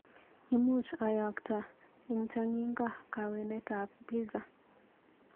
Imuch ayakta eng chang'ingo kawanetab pizza?